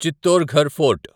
Chittorgarh fort